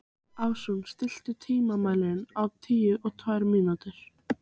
Ásrún, stilltu tímamælinn á níutíu og tvær mínútur.